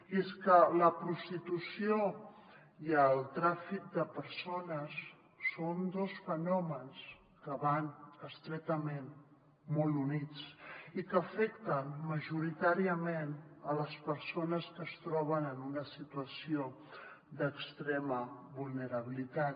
i és que la prostitució i el tràfic de persones són dos fenòmens que van estretament molt units i que afecten majoritàriament les persones que es troben en una situació d’extrema vulnerabilitat